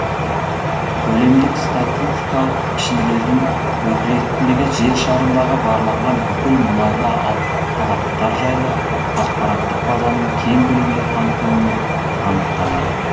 көлемдік статикалық пішіндердің өкілеттілігі жер шарындағы барланған бүкіл мұнайлы алаптар жайлы ақпараттық базаның кең көлемде қамтылуымен анықталады